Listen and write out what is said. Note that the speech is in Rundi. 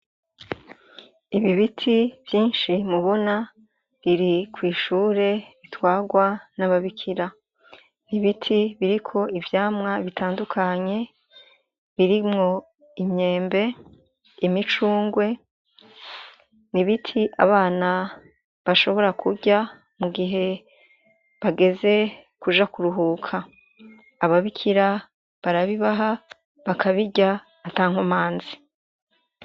ibi biti vyinshi mubona biri kw’ishure bitwarwa n'ababikira nibiti biriko ivyamwa bitandukanye birimwo imyembe imicungwe n’ibiti abana bashobora kuja mu gihe bageze kuja kuruhuka ababikira barabibaha bakabija atankumanzi